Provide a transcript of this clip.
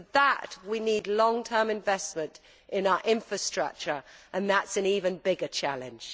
For that we need long term investment in our infrastructure and that is an even bigger challenge.